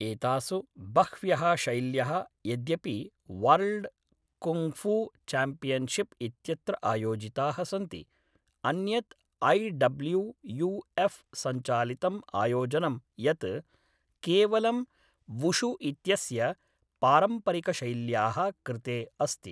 एतासु बह्व्यः शैल्यः यद्यपि वर्ल्ड् कुङ्गफू चाम्पियन्शिप् इत्यत्र आयोजिताः सन्ति, अन्यत् ऐ डब्ल्यू यू एफ़् सञ्चालितम् आयोजनं यत् केवलं वुशु इत्यस्य पारम्परिकशैल्याः कृते अस्ति।